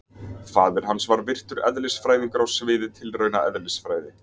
Faðir hans var virtur eðlisfræðingur á sviði tilraunaeðlisfræði.